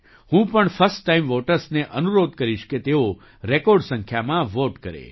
હું પણ first time વૉટર્સને અનુરોધ કરીશ કે તેઓ રેકૉર્ડ સંખ્યામાં વૉટ કરે